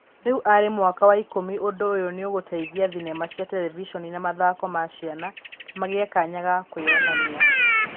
Riu arĩ mwaka wa ikũmi, ũndũ ũyũ nĩ ũgũteithia thenema cia terevishoni na mathako ma ciana magĩe kanya ga kũĩyonania.